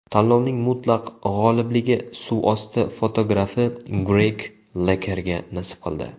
Tanlovning mutlaq g‘olibligi suvosti fotografi Greg Lekerga nasib qildi.